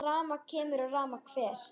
Rafmagn kemur og rafmagn fer.